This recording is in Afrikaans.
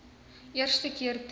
eerste keer toe